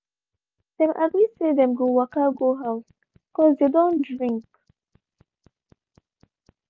dem agree say them go waka go how cause dey don drink.